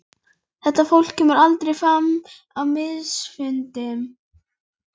Þetta fólk kemur aldrei fram á miðilsfundum.